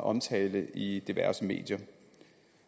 omtalen i diverse medier